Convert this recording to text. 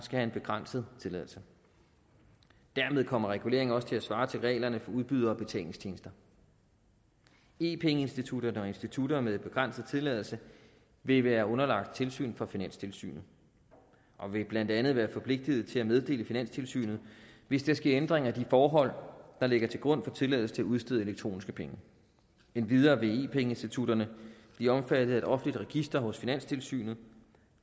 have en begrænset tilladelse dermed kommer reguleringen også til at svare til reglerne for udbydere af betalingstjenester e penge institutter og institutter med begrænset tilladelse vil være underlagt tilsyn fra finanstilsynet og vil blandt andet være forpligtet til at meddele finanstilsynet hvis der sker ændringer i de forhold der ligger til grund for tilladelse til at udstede elektroniske penge endvidere vil e penge institutterne bliver omfattet af et offentligt register hos finanstilsynet